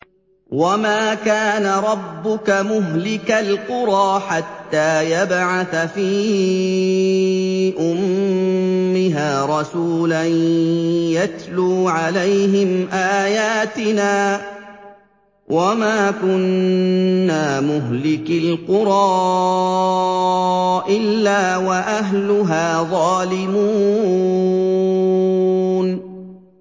وَمَا كَانَ رَبُّكَ مُهْلِكَ الْقُرَىٰ حَتَّىٰ يَبْعَثَ فِي أُمِّهَا رَسُولًا يَتْلُو عَلَيْهِمْ آيَاتِنَا ۚ وَمَا كُنَّا مُهْلِكِي الْقُرَىٰ إِلَّا وَأَهْلُهَا ظَالِمُونَ